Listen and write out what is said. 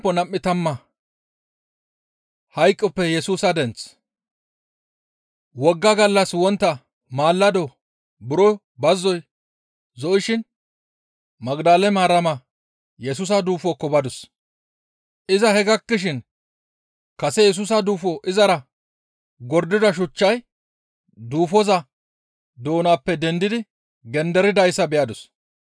Wogga gallas wontta mallado buro bazzoy zo7ishin Magdale Maarama Yesusa duufokko badus. Iza he gakkishin kase Yesusa duufo izara gordida shuchchay duufoza doonappe dendidi genderidayssa beyadus.